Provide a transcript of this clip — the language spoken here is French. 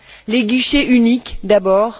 Les guichets uniques d'abord.